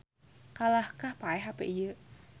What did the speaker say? Kalahkah paeh hape ieu